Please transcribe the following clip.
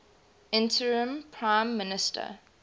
interim prime minister